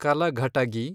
Kalghatgi